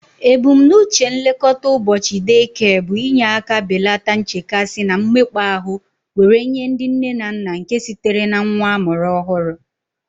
Ebumnuche nke nlekọta ụbọchị day care bụ inye aka belata nchekasị na mmekpa ahụ were nye ndị nne na nna nke sitere na nwa amụrụ ọhụrụ